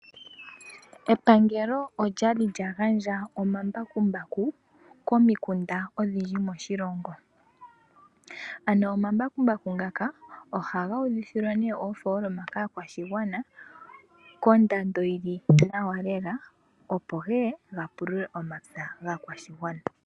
Epangelo okwali lyagandja omambakumbaku komikunda odhindji moshilongo, ano omambakumbaku ngaka ohaga udhithilwa oofoloma kaakwashigwana kondando yili nawa keka opo geye gapulule omapya gaakwashigwana.